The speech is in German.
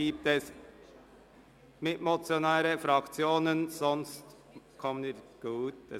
Gibt es Mitmotionäre oder Fraktionen, die sich melden?